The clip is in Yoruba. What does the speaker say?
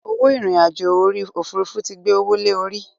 Owó irin àjò orí Òfurufú tí gbé owó lè orí.